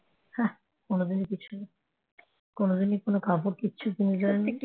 কোনদিনই কোন কাপড় কিছু কিনে দেয় নি